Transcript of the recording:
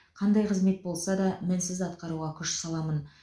қандай қызмет болса да мінсіз атқаруға күш саламын